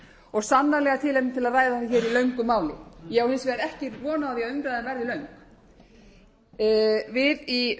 og sannarlega tilefni til að ræða það hér í löngu máli ég á hins vegar ekki von á því að umræðan verði löng við í